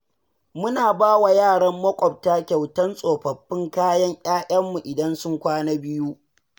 Muna bawa yaran maƙwabta kyautar tsofaffin kayan 'ya'yanmu idan sun kwana biyu.